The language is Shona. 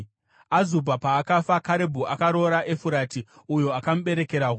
Azubha paakafa Karebhu akaroora Efurati uyo akamuberekera Huri.